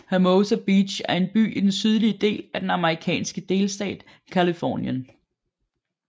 Hermosa Beach er en by i den sydlige del af den amerikanske delstat Californien